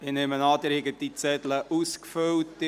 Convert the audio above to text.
Die Wahlkuverts sind eingesammelt;